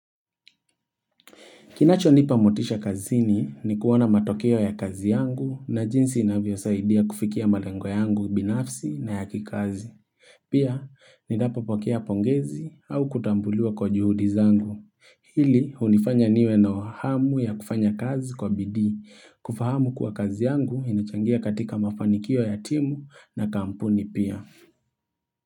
Kinachonipa motisha kazini ni kuona matokeo ya kazi yangu na jinsi inavyosaidia kufikia malengo yangu binafsi na ya kikazi. Pia, ninapopokea pongezi au kutambuliwa kwa juhudi zangu. Hili, hunifanya niwe nayo hamu ya kufanya kazi kwa bidii. Kufahamu kuwa kazi yangu inachangia katika mafanikio ya timu na kampuni pia.